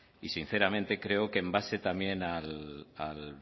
y sinceramente creo que en base también al